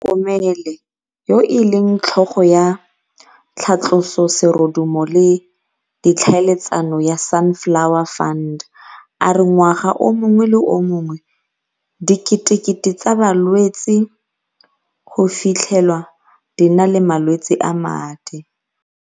Mokomele, yo e leng tlhogo ya tlhatloso serodumo le ditlhaeletsano ya Sunflower Fund, a re ngwaga o mongwe le o mongwe diketekete tsa balwetse go fitlhe lwa di na le malwetse a madi.